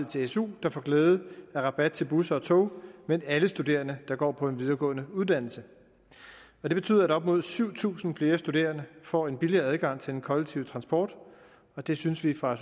til su der får glæde af rabat til busser og tog men alle studerende der går på en videregående uddannelse det betyder at op mod syv tusind flere studerende får en billigere adgang til den kollektive transport og det synes vi fra